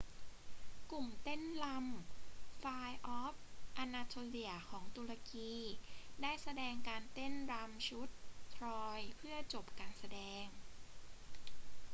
กลุ่มเต้นรำ fire of anatolia ของตุรกี ได้แสดงการเต้นรำชุด troy เพื่อจบการแสดง